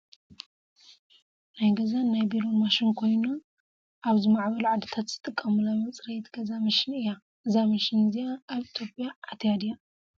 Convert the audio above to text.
ናይ ገዛን ናይ ቢሮን ማሽን ኮይና ኣብ ዝማዕበሉ ዓዲታት ዝጠቀሙላ መፅረይት ገዛ መሽን እያ። እዛ መሽን እዚኣ ኣብ ኢትዮጰያ ኣትያ ድያ ?